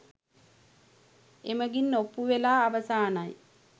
එමඟින් ඔප්පු වෙලා අවසානයි .